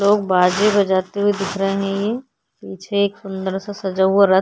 लोग बाजे बजाते हुए दिख रहे हैं ये। पीछे एक सुंदर सा सजा हुआ रथ --